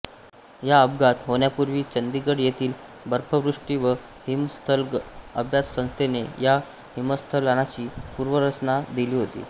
हा अपघात होण्यापूर्वी चंदिगड येथील बर्फवृष्टी व हिमस्खलन अभ्यास संस्थेने या हिमस्खलनाची पूर्वसूचना दिली होती